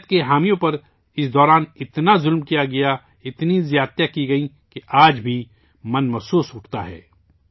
جمہوریت کے حامیوں پر اس دوران اتنا ظلم کیا گیا، اتنی اذیتیں دی گئیں ، کہ آج بھی دل کانپ اٹھتا ہے